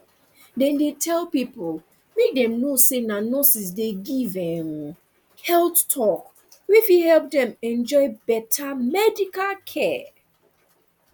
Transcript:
dem dey tell pipo make dem know say na nurses dey give um health talk wey fit help dem enjoy better medical care